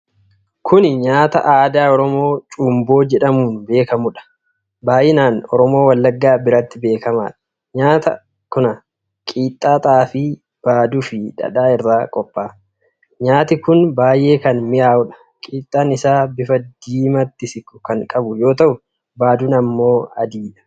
Kuni nyaata aadaa Oromoo Cumboo jedhamuun beekamuudha. Baay'inaan Oromoo Wallaggaa biratti beekamaadha. Nyaati kun qixxaa xaafii, baaduu fi dhadhaa irraa qophaa'a. Nyaati kun baay'ee kan mi'aayudha. Qixxaan isaa bifa diimatti siiqu kan qabu yoo ta'u baaduun ammoo adiidha.